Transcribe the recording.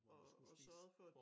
Og og sørgede for at